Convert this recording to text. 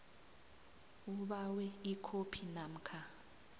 ubawe ikhophi namkha